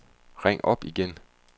ring op igen